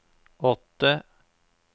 åtte